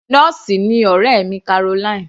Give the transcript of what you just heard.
Nọ́ọ̀sì ni ọ̀rẹ́ mi Caroline.